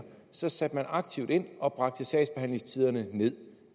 så satte man aktivt ind og bragte sagsbehandlingstiderne nederst